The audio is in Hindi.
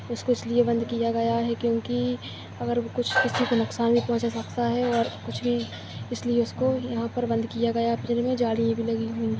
उसको इसलिये बंद किया गया है क्योंकि अगर वो किसी को नुकसान नाही पहुंचा सकता है और कुछ इसलिये उसको यहाँ पर बंद किया गया और जालिया भी लगी हुवी है।